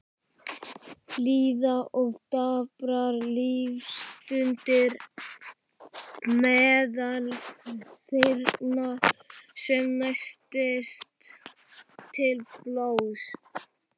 Líða og daprar lífsstundir meðal þyrna sem læsast til blóðs.